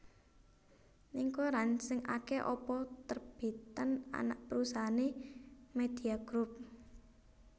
Ning koran sing ake apa terbitan anak perusahaane Media Group